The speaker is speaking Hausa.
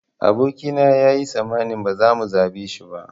Aboki na yayi tsammanin ba za mu zaɓe shi ba